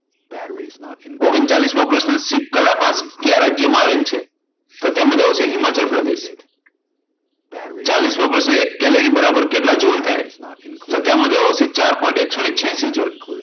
ઓગણચાલીસ મો પ્રશ્ન શિપકલા કયા રાજયમાં આવેલ છે? તો તેનો જવાબ આવશે હિમાચલ પ્રદેશ. ચાલીસ મો પ્રશ્ન એક કેલેરી બરાબર કેટલા જુલ? તો તેમાં જવાબ આવશે ચાર point એકસો છ્યાશી જૂલ